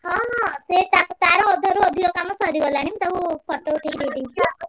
ହଁ ହଁ ସିଏ ତା ତାର ଅଧାରୁ ଅଧିକ କାମ ସରିଗଲାଣି। ମୁଁ ତାକୁ photo ଉଠେଇ ଦେଇଦେଇଚି।